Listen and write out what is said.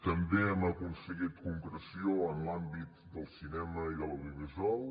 també hem aconseguit concreció en l’àmbit del cinema i de l’audiovisual